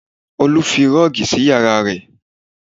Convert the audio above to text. Olu fi rọ́ọ̀gì sí yàrá rẹ̀